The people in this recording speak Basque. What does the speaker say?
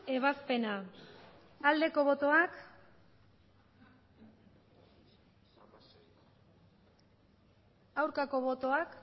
ebazpena aldeko botoak aurkako botoak